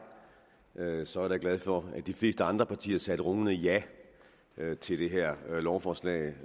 så er jeg da glad for at de fleste andre partier sagde rungende ja til det her lovforslag